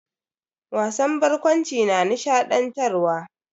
Wasan barkwanci na nishadantarwa.